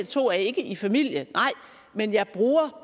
to er ikke i familie men jeg bruger